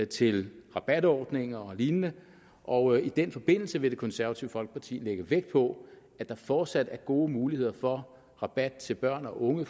til rabatordninger og lignende og i den forbindelse vil det konservative folkeparti lægge vægt på at der fortsat er gode muligheder for rabat til børn og unge